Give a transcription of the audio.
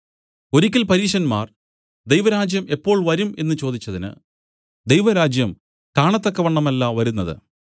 ഒരിയ്ക്കൽ പരീശന്മാർ ദൈവരാജ്യം എപ്പോൾ വരും എന്നു ചോദിച്ചതിന് ദൈവരാജ്യം കാണത്തക്കവണ്ണമല്ല വരുന്നത്